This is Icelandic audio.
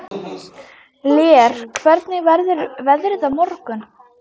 Lér, hvernig verður veðrið á morgun?